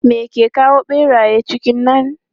Me ke kawo ɓeraye cikin nan?